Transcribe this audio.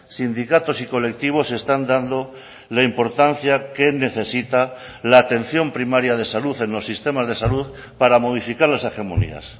sindicatos y colectivos están dando la importancia que necesita la atención primaria de salud en los sistemas de salud para modificar las hegemonías